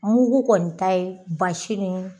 Mugu kɔni ta ye basi ni